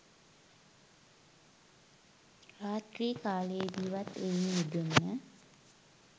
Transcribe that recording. රාත්‍රී කාලයේදීවත් එයින් මිදෙන්න